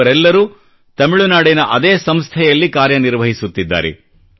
ಇವರೆಲ್ಲರೂ ತಮಿಳುನಾಡಿನ ಅದೇ ಸಂಸ್ಥೆಯಲ್ಲಿ ಕಾರ್ಯನಿರ್ವಹಿಸುತ್ತಿದ್ದಾರೆ